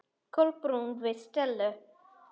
Kolbrún við Stellu.